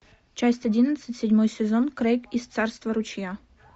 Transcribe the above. часть одиннадцать седьмой сезон крейг из царства ручья